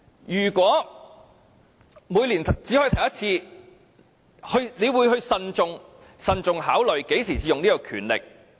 如果每年只可以提出一次，議員便會慎重考慮何時才使用這項權力。